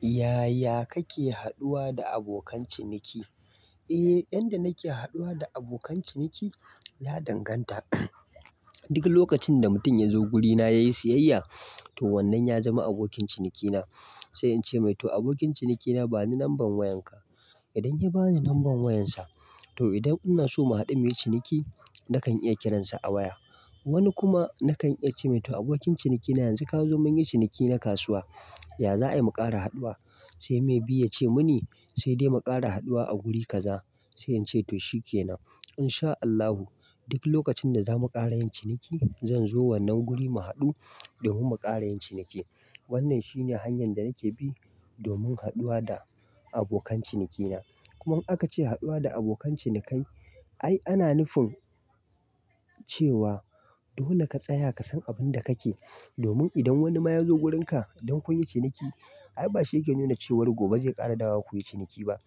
Yaya kake haduwa da abokan ciniki? Eh, yadda nake haduwa da abokan ciniki, ya danganta. Duk lokacin da mutum ya zo guri na ya yi siyayya, to wannan ya zama abokin cinikina. Sai in ce mai to abokin cinikina bani lamban wayanka. Idan ya bani lamban wayansa, to idan ina so mu haɗu muyi ciniki nakan iya kiransa a waya. Wani kuma kadan iya cemai to abokin ciniki na yanzu kazo munyi cikiniki na kasuwa ya za a yi mu ƙara haduwa. Sai may be ya ce mun yi sai dai mu ƙara haduwa a guri kaza. Sai ince to shikenan In sha Allahu duk lokacin da za mu ƙara yin ciniki zan zo wannan guri mu haɗu domin mu ƙara yin ciniki. Wannan shine hanyan da nake bi domin haduwa da abokan cinikina. Kuma an ka ce haduwa da abokan cinikai. Ai ana nufin cewa dole ka tsaya ka san abin da kake domin idan wani ma ya zo wurin ka don kun yi ciniki. Ai ba shi yake nuna cewa gobe zai ƙara dawowa kuyi ciniki ba.